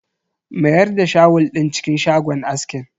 Mayar da shawul din cikin shagon askin.